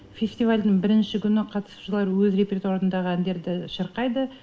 фестивальдің бірінші күні қатысушылар өз репертуарындағы әндерді шырқайды